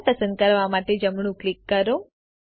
lamp પસંદ કરવા માટે જમણું ક્લિક કરો